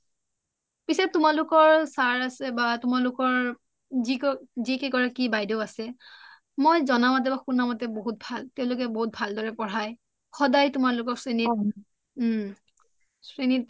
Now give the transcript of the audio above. পিছে তোমালোকৰ sir আছে বা তোমালোকৰ যি কেইগৰাকী বাইদেউ আছে মই জনা মতে শুনা মতে তেওঁলোকে বহুত ভাল বহুত ভাল দৰে পঢ়াই সদাই তোমালোকক চিনি ওম